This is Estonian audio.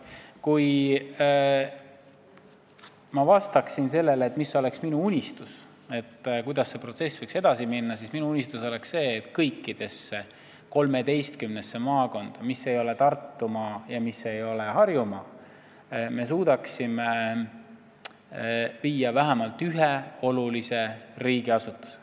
Kui ma vastaksin, mis oleks minu unistus ja kuidas see protsess võiks edasi minna, siis kõikidesse 13 maakonda, mis ei ole Tartumaa ega Harjumaa, me suudaksime viia vähemalt ühe olulise riigiasutuse.